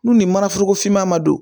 N'u ni mana foroko finma ma don